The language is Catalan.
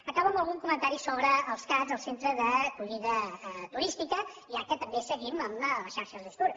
acabo amb algun comentari sobre els cat els centres d’acollida turística ja que també seguim amb la xarxa necstour